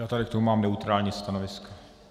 Já tady k tomu mám neutrální stanovisko.